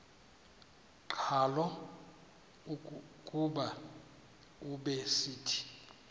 qhalo kuba ubesithi